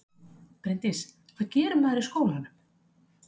Bryndís: Hvað gerir maður í skólanum?